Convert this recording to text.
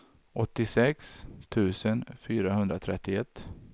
åttiosex tusen fyrahundratrettioett